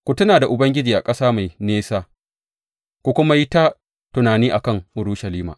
Ku tuna da Ubangiji a ƙasa mai nesa, ku kuma yi ta tunani a kan Urushalima.